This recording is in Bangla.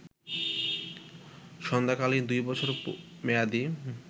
সান্ধ্যকালীন দুই বছর মেয়াদী